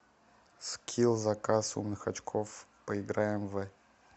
скилл заказ умных очков поиграем в